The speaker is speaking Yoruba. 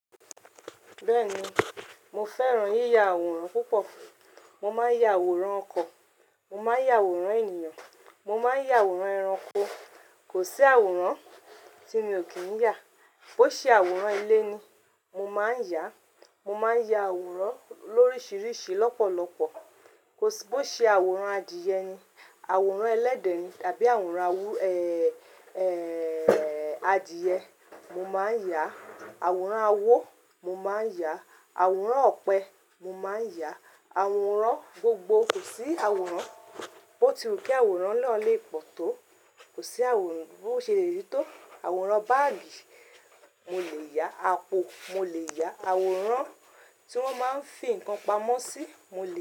Bẹ́ẹ̀ni, mo fẹ́ràn yíya àwòrán púpọ̀. Mo máa ń ya àwòrán ọkọ̀, mo máa ń ya àwòrán ènìyàn, mo máa ń ya àwòrán ẹranko. Kò sí àwòrán tí mi ò kí ń yà. Bo ṣe àwòrán ilé ni, mo máa ń yà, mo máa ń ya àwòrán lóríṣiríṣi lọ́pọ̀lọpọ̀. Bo ṣe àwòrán adìẹ ni, àwòrán ẹlẹ́dẹ̀ ni tàbí àwòrán awú-èèè adìẹ, mo máa ń yà. Àwòrán awo mo máa ń yà, àwòrán ọ̀pẹ mo máa ń yà, àwòrán gbogbo. Kò sí àwòrán bo ti wù kí àwòrán náà lè pọ̀ tó, kò sí àwòrán bo se le rí tó. Àwòrán báàgì mo lè yà, apo mo lè yà, àwòrán tí wọ́n máa ń fi nǹkan pamọ́ sí mo lè yà.